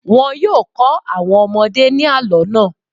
Wọn yóò kọ́ àwọn ọmọdé ní àlọ́ náà.